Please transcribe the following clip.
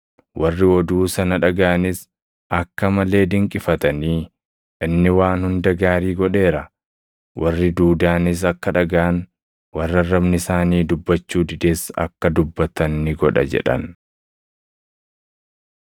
Warri oduu sana dhagaʼanis akka malee dinqifatanii, “Inni waan hunda gaarii godheera; warri duudaanis akka dhagaʼan, warri arrabni isaanii dubbachuu dides akka dubbatan ni godha” jedhan.